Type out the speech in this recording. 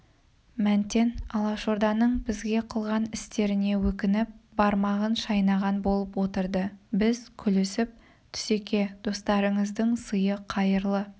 мәнтен алашорданың бізге қылған істеріне өкініп бармағын шайнаған болып отырды біз күлісіп түсеке достарыңыздың сыйы қайырлы